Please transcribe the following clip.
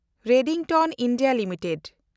Redington India limited